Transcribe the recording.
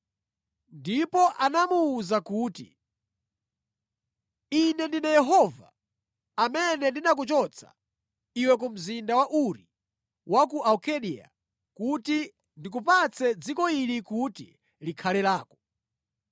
Ndipo anamuwuza kuti, “Ine ndine Yehova amene ndinakuchotsa iwe ku mzinda wa Uri wa ku Akaldeya kuti ndikupatse dziko ili kuti likhale lako.”